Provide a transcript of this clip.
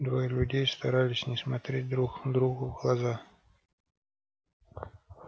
двое людей старались не смотреть друг другу в глаза